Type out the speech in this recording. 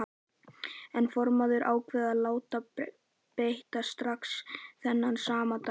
En formaðurinn ákvað að láta beita strax þennan sama dag.